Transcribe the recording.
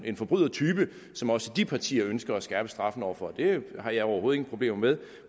en forbrydertype som også de partier ønsker at skærpe straffen over for det har jeg overhovedet ingen problemer med